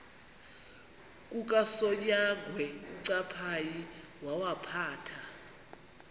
kukasonyangwe uncaphayi wawaphatha